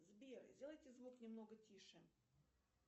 сбер сделайте звук немного тише